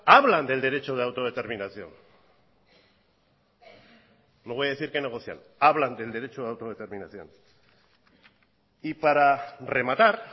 hablan del derecho de autodeterminación no voy a decir que negocian hablan del derecho de autodeterminación y para rematar